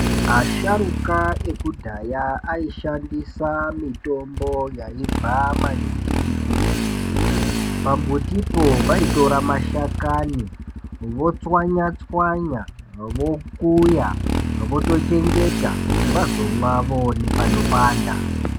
Asharuka ekudhaya, aishandisa mitombo yaibva maningi kumbuti. Pambutipo vaitora mashakani , votswanya-tswanya, vokuya, votochengeta ,kuti vazomwa vaane panopanda.